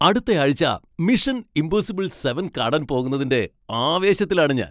അടുത്തയാഴ്ച Mission Impossible seven കാണാൻ പോകുന്നതിന്റെ ആവേശത്തിലാണ് ഞാൻ.